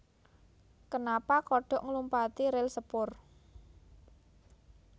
Kenapa kodhok nglumpati ril sepur